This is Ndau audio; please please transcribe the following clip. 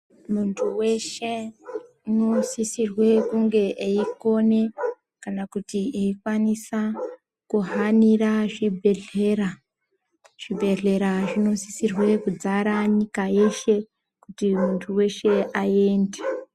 Muntu weshe ,unosisirwe kunge eikone ,kana kuti eikwanisa kuhanirwa zvibhedhlera. Zvibhedhlera zvinosise kudzara nyika yeshe, kuti muntu weshe aende.